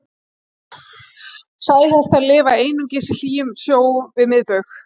Sæhestar lifa einungis í hlýjum sjó við miðbaug.